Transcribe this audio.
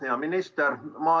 Hea minister!